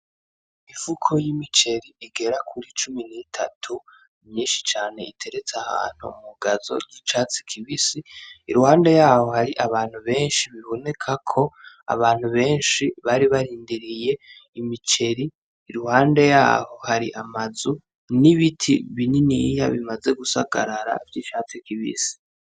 Imifuko y'imiceri igera kuri cumi n'itatu, myinshi cane, iteretse ahantu mu gazo y'icatsi kibisi, iruhande yaho hari abantu benshi, bibonekako abantu benshi bari barindiriye imiceri, iruhande yaho hari amazu n'ibiti bininiya bimaze gusagarara vy'icatsi kibisi.